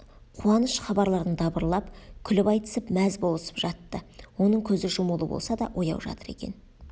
қуаныш хабарларын дабырлап күліп айтысып мәз болысып жатты оның көзі жұмулы болса да ояу жатыр екен